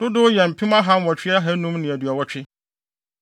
dodow yɛ mpem ahanwɔtwe ahannum ne aduɔwɔtwe.